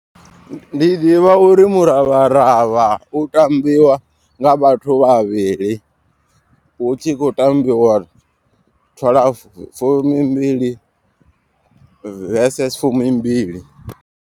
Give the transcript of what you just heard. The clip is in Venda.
Ndi ḓivha uri muravharavha u tambiwa nga vhathu vhavhili. Hu tshi khou tambiwa twalafu fumimbili versus fumimbili.